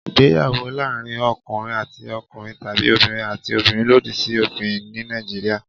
Ìgbéyàwó láàárín ọkùnrin àti ọkùnrin tàbí obìnrin àti obìnrin lòdì sí òfin ní Nàìjíríà.